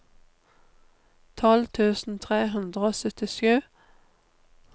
tolv tusen tre hundre og syttisju